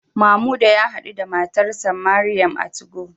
Mamuda ya hadu da matarsa ​​Mariam a 2go